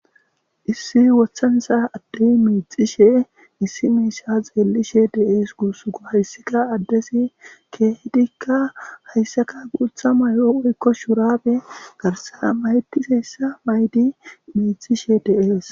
issi wothansa addey miixishe issi meisha xeellishe de7ees guusugo haysseka addesi keehedikka hayssaka guutha mayo oykko shurabe garsa mayetiseyssa maydi miixishe de7ees